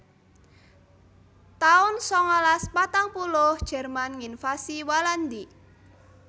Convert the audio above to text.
taun sangalas patang puluh Jerman nginvasi Walandi